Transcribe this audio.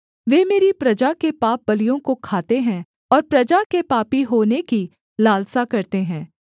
वे मेरी प्रजा के पापबलियों को खाते हैं और प्रजा के पापी होने की लालसा करते हैं